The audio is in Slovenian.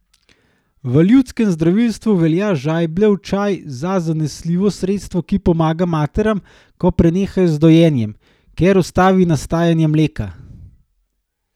V ljudskem zdravilstvu velja žajbljev čaj za zanesljivo sredstvo, ki pomaga materam, ko prenehajo z dojenjem, ker ustavi nastajanje mleka.